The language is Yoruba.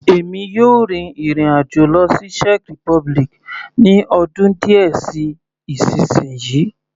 Èmi yóò rin ìrìn àjò lọ sí Czech republic ní ọdún díẹ̀ sí isinyi.